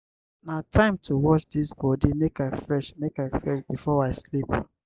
na time to wash dis body make i fresh make i fresh before i sleep.